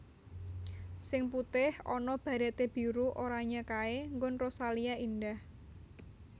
Sing putih ana barete biru oranye kae nggon Rosalia Indah